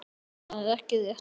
Það er ekki rétt.